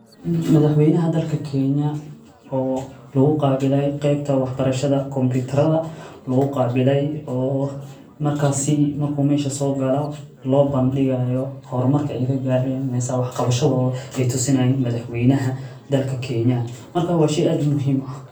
Madhax weeynaha dalka Kenya oo laguqaabilay qebta waxbarashadha combitaradha laguqabiley oo markasi marku mesha soogalo loobandigayo hormaka ey kagaaren mise wax qabashadod ey tusinayiin madhaxweynaha dalka Kenya , marka waa shey aad muhiim uah.